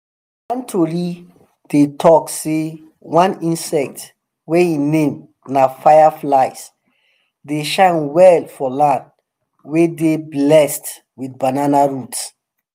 one tori dey talk sey one insect wey em name na fireflies dey shine well for land wey dey blessed with banana roots